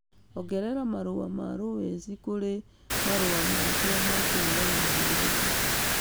ongerera marũa ma lowes kũrĩ marũa makwa ma kũhũũrana na Nairobi